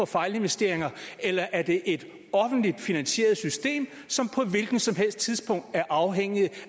fejlinvesteringer eller er det et offentligt finansieret system som på et hvilket som helst tidspunkt er afhængigt